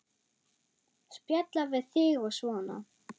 Spjalla við þig og svona.